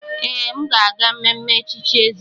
Ee, aga m aga mmemme echichi eze.